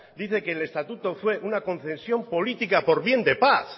dice que el estatuto fue una concesión política por bien de paz